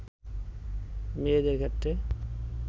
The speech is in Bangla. মেয়েদের ক্ষেত্রে